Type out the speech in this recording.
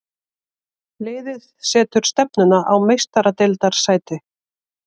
Liðið setur stefnuna á Meistaradeildarsæti.